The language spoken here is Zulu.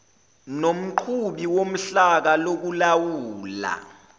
nomqhubi wohlaka lokulawula